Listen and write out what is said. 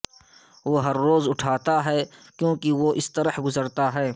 وہ ہر روز اٹھاتا ہے کیونکہ وہ اس طرح گزرتا ہے